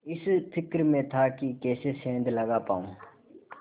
इस फिक्र में था कि कैसे सेंध लगा पाऊँ